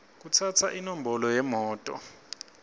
kutsatsa inombolo yemoto